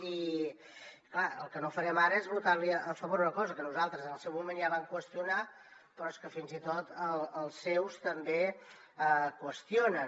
i és clar el que no farem ara és votar li a favor una cosa que nosaltres en el seu moment ja vam qüestionar però és que fins i tot els seus també qüestionen